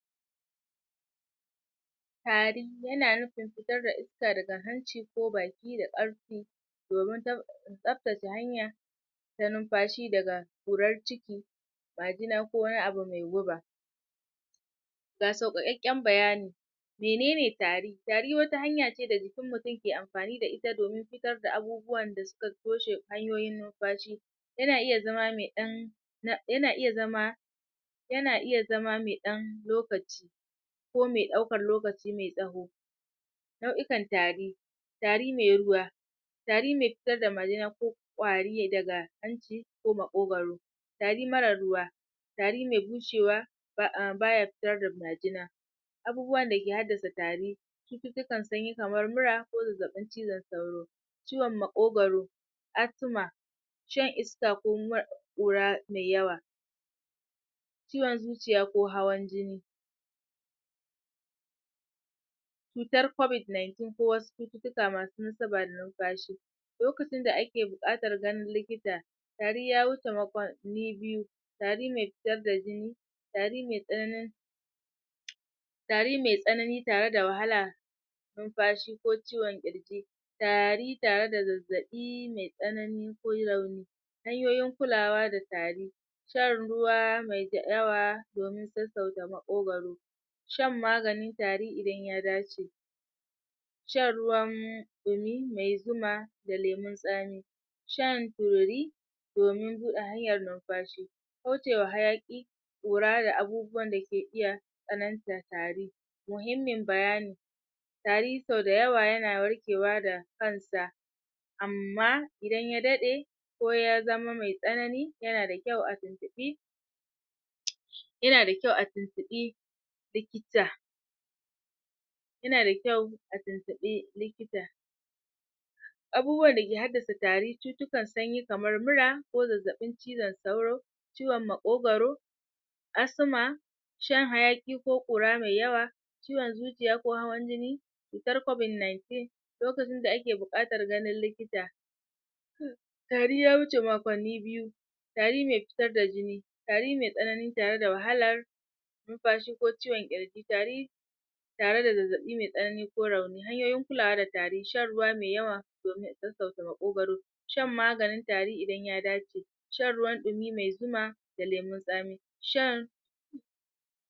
Tari yana nufin fitar da iska daga hanci ko baki da karfi domin tsaftace hanya ta numfashi dagaqurar ciki ko wani abu mai guba ga saukakakken bayani Menenen tari? Tari wata hanya ce da jikin mutum ke amfani da ita domin fitar da abubuwan da suka toshe hanyoyin numfashi. Yana iya zama me dan Yana iya zama yana iya zama me dan lokaci ko me daukan lokaci me tsaho Nau'ikan tari Tari me ruwa Tari me fitar da majina ko Kwari daga hanci ko makogwaro Tari mara ruwa Tari me wucewa BAya fitar da majina Abubuwan da ke haddasa tari Cututtukan sunyi kamar mura, ko zazzabin cizon sauro Ciwon makogwaro asthma iska ko kuma kura me yawa ciwon zuciya ko hawan jini cutar covid-19 ko wasu cututtuka masu nasaba da numfashi lokacin da ake buqatar ganin ikita: tari ya wuce makonni biyu. Tari me fitar a jini. Tari me tsaanin. Tari me tsanani tare da wahala k ciwon kirji Tari tare da zazzabi me tsanani ko rauni hanyoyin kulawa da tari shan ruwa dayawa domin sassauta makogwaro maganin tari idan ya dace Ruwan dumi mai zuma da lemon tsami shan turi domin bude hanyar numfashi kaucewa hayaki kura, da abubuwan dake tsanantar tari Muhimmin bayani amma idan ya dade ya zama me tsanani, yanada kyau a tuntubi yanada kyau a tuntubi likita A tuntubi likita abubuwan da ke haddasa tari cututtuka kamar mura ko zazzabin cizon sauro ciwon makogwaro asthma shan hayaki ko qura mai yawa ciwon zuciya ko hawan jini cutar covid 19. lokacin da ake buqatar gain likita tariya wuce makonni biyu Tari me fitar da jini Tari me tsanani tare da wahalar numfashi ko ciwo kirji tari Tare da zazzabi me tsanani ko rauni. Hanyoyin kulawa da tari: Shan ruwa me yawa Domin sassauta makogwaro Shan maganin tari idan ya dace. shan ruwan dumi mai zuma, da lemon tsami.